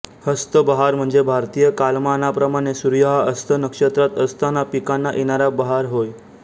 हस्त बहार म्हणजे भारतीय कालमानाप्रमाणे सूर्य हा हस्त नक्षत्रात असतांना पिकांना येणारा बहार होय